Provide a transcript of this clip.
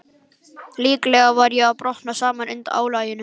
Líklega var ég að brotna saman undan álaginu.